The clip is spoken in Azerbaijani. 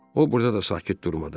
O burada da sakit durmadı.